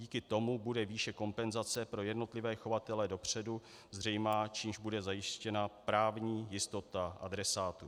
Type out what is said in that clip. Díky tomu bude výše kompenzace pro jednotlivé chovatele dopředu zřejmá, čímž bude zajištěna právní jistota adresátů.